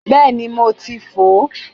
Bẹ́ẹ̀ni mo ti fò ó